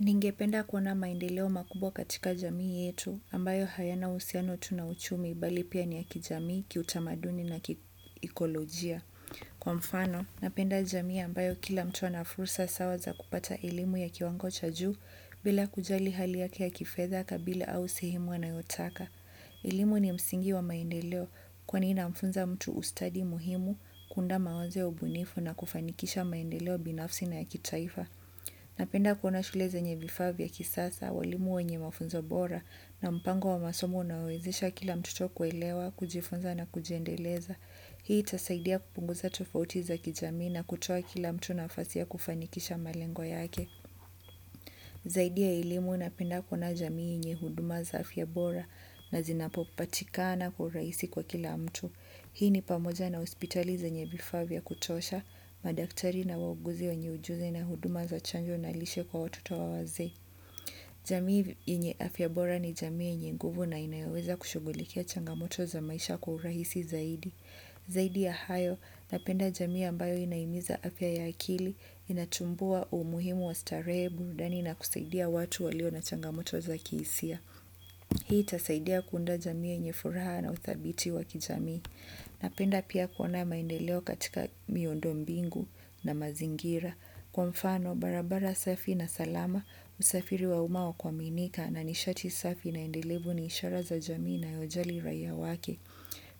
Ningependa kuona maendeleo makubwa katika jamii yetu ambayo hayana uhusiano tu na uchumi bali pia ni ya kijamii kitamaduni na kiikolojia. Kwa mfano, napenda jamii ambayo kila mtu ana fursa sawa za kupata elimu ya kiwango cha juu bila kujali hali yake ya kifedha kabila au sehemu anayotaka. Elimu ni msingi wa maendeleo kwani inamfunza mtu ustadi muhimu kuunda mawazo ya ubunifu na kufanikisha maendeleo binafsi na ya kitaifa. Napenda kuona shule zenye vifaa vya kisasa, walimu wenye mafunzo bora na mpango wa masomo unaowawezesha kila mtoto kuelewa, kujifunza na kujendeleza. Hii itasaidia kupunguza tofauti za kijami na kutoa kila mtu nafasi ya kufanikisha malengo yake. Zaidi ya elimu napenda kuona jamii yenye huduma za afya bora na zinapopatikana kwa urahisi kwa kila mtu. Hii ni pamoja na hospitali zenye vifaa vya kutosha madaktari na wauguzi wenye ujuzi na huduma za chanjo na lishe kwa watoto au wazee. Jamii yenye afya bora ni jamii yenye nguvu na inayoweza kushugulikia changamoto za maisha kwa urahisi zaidi. Zaidi ya hayo, napenda jamii ambayo inahimiza afya ya akili, inatumbua umuhimu wa starehe burudani na kusaidia watu walio na changamoto za kihisia. Hii itasaidia kuunda jamii yenye furaha na uthabiti wa kijamii. Napenda pia kuona maendeleo katika miundombingu na mazingira. Kwa mfano, barabara safi na salama, usafiri wa umma wa kuaminika na nishati safi na endelevu ni ishara za jamii inayojali raia wake.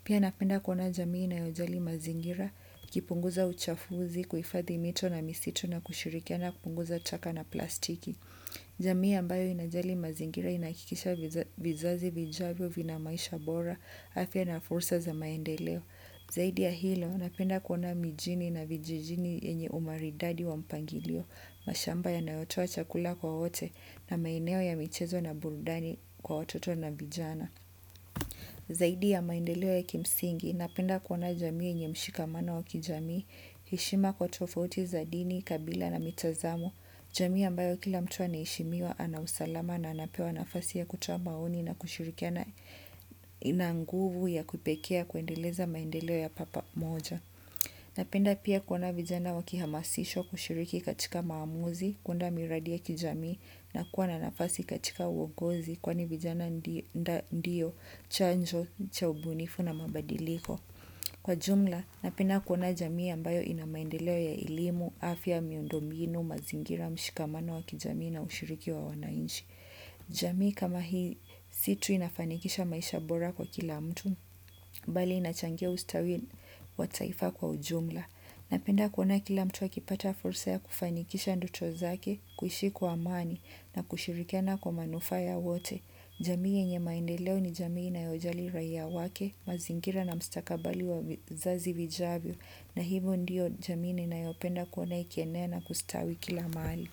Pia napenda kuona jamii inayojali mazingira, ikipunguza uchafuzi, kuhifadhi mito na misitu na kushirikiana kupunguza taka na plastiki. Jamii ambayo inajali mazingira inahakikisha vizazi vijavyo vina maisha bora, afya na fursa za maendeleo. Zaidi ya hilo, napenda kuona mijini na vijijini yenye umaridadi wa mpangilio, mashamba yanayotoa chakula kwa wote na maeneo ya michezo na burudani kwa wototo na vijana. Zaidi ya maendeleo ya kimsingi, napenda kuona jamii yenye mshikamano wa kijamii, heshima kwa tofauti za dini, kabila na mitazamo, jamii ambayo kila mtu anaheshimiwa ana usalama na anapewa nafasi ya kutoa maoni na kushirikia na ina nguvu ya kipekee ya kuendeleza maendeleo ya papa moja. Napenda pia kuona vijana wakihamasishwa kushiriki katika maamuzi, kuunda miradi ya kijamii na kuwa na nafasi katika uongozi kwani vijana ndio, chanjo, cha ubunifu na mabadiliko. Kwa jumla, napenda kuona jamii ambayo ina maendeleo ya elimu, afya, miundombinu, mazingira mshikamano wa kijamii na ushiriki wa wananchi. Jamii kama hii si tu inafanikisha maisha bora kwa kila mtu bali inachangia ustawi wa taifa kwa ujumla. Napenda kuona kila mtu akipata fursa ya kufanikisha ndoto zake. Kuishi kwa amani na kushirikana kwa manufaa yao wote. Jamii yenye maendeleo ni jamii inayojali raia wake mazingira na mustakabali wa vizazi vijavyo. Na hivyo ndiyo jamii ninayopenda kuona ikienea na kustawi kila mahali.